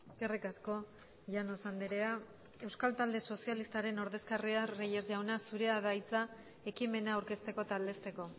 eskerrik asko llanos andrea euskal talde sozialistaren ordezkaria reyes jauna zurea da hitza ekimena aurkezteko eta aldezteko